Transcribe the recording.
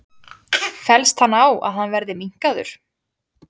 Fellst hann á að hann verði minnkaður?